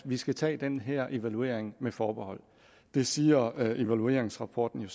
vi skal tage den her evaluering med forbehold det siger evalueringsrapporten